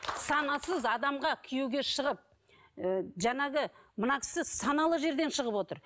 санасыз адамға күйеуге шығып ы жаңағы мына кісі саналы жерден шығып отыр